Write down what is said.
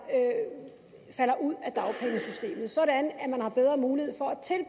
falder ud af dagpengesystemet sådan at man har bedre mulighed for